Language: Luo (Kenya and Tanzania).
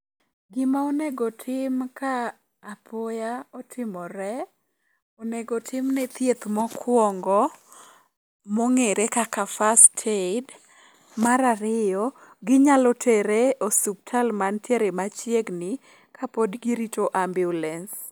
Gima onego tim ka apoya otimore, onego timne thieth mokwongo mong'ere kaka first aid. Mar ariyo, ginyalo tere osuptal mantiere machiegni kapod girito ambiulens.